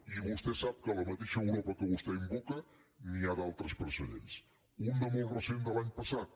i vostè sap que a la mateixa europa que vostè invoca n’hi ha d’altres precedents un de molt recent de l’any passat